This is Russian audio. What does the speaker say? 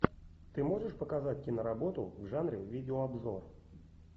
ты можешь показать киноработу в жанре видеообзор